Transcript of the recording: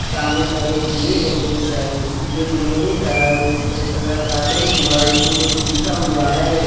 सामने साइड एक गेट है गेटव से गेट लोहे है का इसमे सफ़ेद कलर का पैंट हुआ है इसके ऊपर कुछ लिखा हुआ है।